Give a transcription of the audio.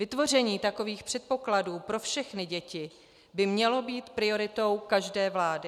Vytvoření takových předpokladů pro všechny děti by mělo být prioritou každé vlády.